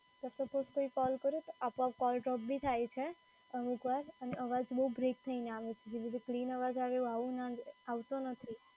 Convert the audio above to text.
કોઈ કૉલ કરું તો આપો આપ કૉલ ડ્રોપ બી થાય છે અમુકવાર, અને અવાજ બઉ બ્રેક થઈને આવે છે જેવી રીતે clean અવાજ આવે એ આવતો નથી.